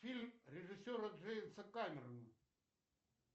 фильм режиссера джеймса камерона